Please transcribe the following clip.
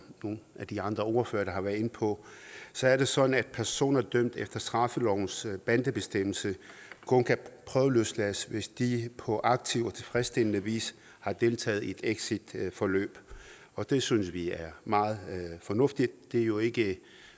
nogle af de andre ordførere har været inde på så er det sådan at personer dømt efter straffelovens bandebestemmelse kun kan prøveløslades hvis de på aktiv og tilfredsstillende vis har deltaget i et exitforløb og det synes vi er meget fornuftigt det er jo ikke et